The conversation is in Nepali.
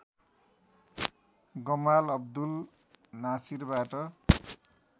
Gamal Abdul नासिरबाट